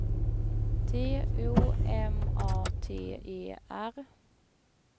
T O M A T E R